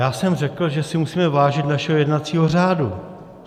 Já jsem řekl, že si musíme vážit našeho jednacího řádu.